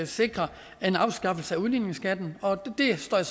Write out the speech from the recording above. sikrer en afskaffelse af udligningsskatten og det står jeg